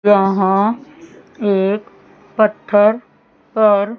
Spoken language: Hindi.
यहां एक पत्थर पर--